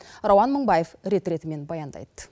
рауан мыңбаев рет ретімен баяндайды